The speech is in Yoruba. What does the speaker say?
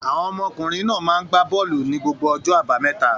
Àwọn ọmọkùnrin náà máa ń gbá bọ́ọ́lù ní gbogbo ọjọ́ àbámẹ́ta.